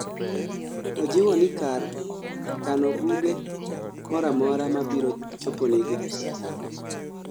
ojiwoni kar kano buge moramora mabiro choponigi